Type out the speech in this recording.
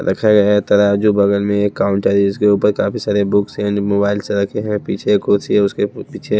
रखा गया है तराजू बगल में एक काउंटर जिसके ऊपर काफी सारे बुक्स एंड मोबाइल्स रखे हैं पीछे एक कुर्सी है उसके पीछे--